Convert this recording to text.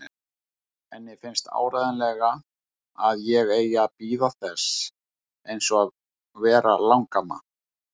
Henni finnst áreiðanlega að ég eigi bara að bíða þess eins að verða langamma.